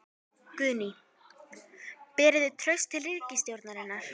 Guðný: Berið þið traust til ríkisstjórnarinnar?